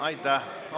Aitäh!